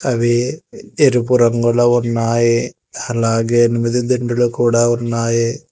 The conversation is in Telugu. అవి ఎరుపు రంగులో ఉన్నాయి అలాగే నువ్విదా దిండులు కూడా ఉన్నాయి.